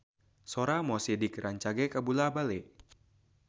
Sora Mo Sidik rancage kabula-bale